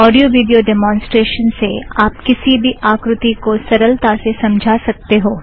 audio video demonstration से आप किसी भी आकृती को सरलता से समझा सकते हो